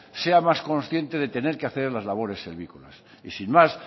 sea más consciente de tener que hacer las labores y sin más